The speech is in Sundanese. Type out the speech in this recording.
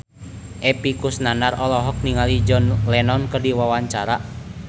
Epy Kusnandar olohok ningali John Lennon keur diwawancara